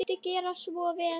Viltu gera svo vel.